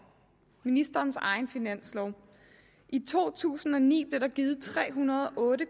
ministerens egen finanslov i to tusind og ni blev der givet tre hundrede og otte